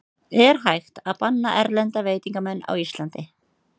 Er hægt að banna erlenda veitingamenn á Íslandi?